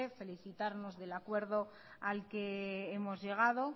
felicitarnos del acuerdo al que hemos llegado